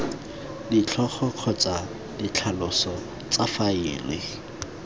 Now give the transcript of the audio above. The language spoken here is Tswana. ditlhogo kgotsa ditlhaloso tsa faele